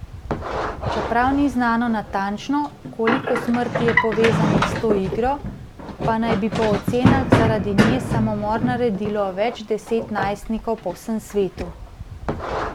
Čeprav ni znano natančno, koliko smrti je povezanih s to igro, pa naj bi po ocenah zaradi nje samomor naredilo več deset najstnikov po vsem svetu.